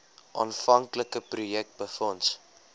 aanvanklike projek befonds